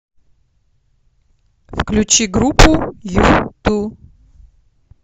включи группу юту